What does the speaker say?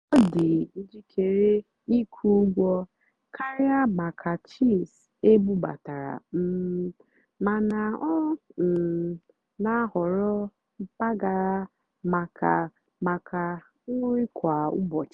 ọ́ dì́ njìkéré ị́kwụ́ ụ́gwọ́ kàrị́á màkà chíís ébúbátàrá um màná ọ́ um nà-àhọ̀rọ́ mpàgàrà màkà màkà nrì kwá ụ́bọ̀chị́.